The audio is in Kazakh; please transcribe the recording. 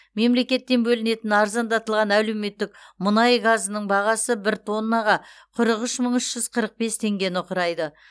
мемлекеттен бөлінетін арзандатылған әлеуметтік мұнай газының бағасы бір тоннаға қырық үш мың үш жүз қырық бес теңгені құрайды